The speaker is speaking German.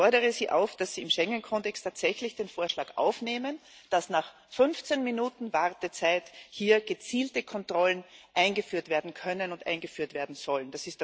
Ich fordere Sie auf, dass Sie in den Schengen Kodex tatsächlich den Vorschlag aufnehmen, dass nach 15 Minuten Wartezeit hier gezielte Kontrollen eingeführt werden können und eingeführt werden sollen.